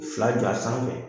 Fila jɔ a sanfɛ